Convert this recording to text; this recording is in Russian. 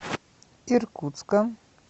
иркутска